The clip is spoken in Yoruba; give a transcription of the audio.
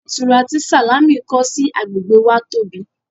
Ilé ìtura tí Sàlámì kọ́ sí agbègbè wa tóbi